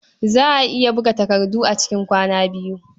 Za a iya buga takarda a cikin kwana biyu.